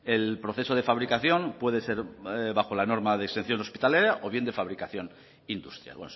el proceso de fabricación puede ser bajo la norma de o bien de fabricación industrial